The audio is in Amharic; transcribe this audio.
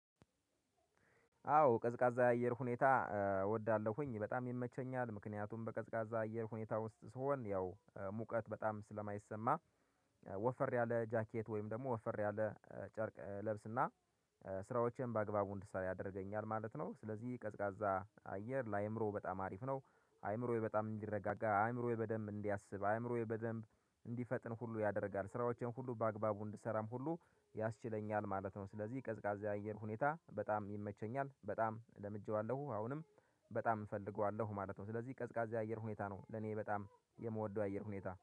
አዎ ቀዝቃዛ አየር ሁኔታ እወዳለሁኝ በጣም ይመቸኛል ምክንያቱም በቀዝቃዛ አየር ሁኔታ ውስጥ ስሆን ያው ሙቀት በጣም ስለማይሰማ። ወፈር ያለ ጃኬት ወይም ደግሞ ወፈር ያለ ጨርቅ ለብስና ስራዎችን በአግባቡ እንዳይ ያደርገኛል ማለት ነው። ስለዚህ ቀዝቃዛ አየር ለአእምሮ በጣም አሪፍ ነው። አእምሮዬ በጣም እንዲረጋጋ አእምሮዬ በደንብ እንዲያስብ አእምሮዬ በደንብ እንዲፈጥን ሁሉ ያደርጋል ስራዎችን ሁሉ በአግባቡ እንድሰራም ሁሉ ያስችለኛል ማለት ነው። ስለዚህ ቀዝቃዛ አየር ሁኔታ በጣም ይመቸኛል በጣም ለምጄዋለሁ አሁንም በጣም እፈልገዋለሁ ማለት ነው። ስለዚህ ቀዝቃዛ የአየር ሁኔታ ነው ለኔ በጣም የምወደው አየር ሁኔታ